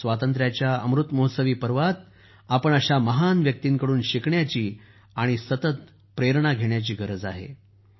आज स्वातंत्र्याच्या अमृत महोत्सवी पर्वात आपण अशा महान व्यक्तींकडून शिकण्याची आणि सतत प्रेरणा घेण्याची गरज आहे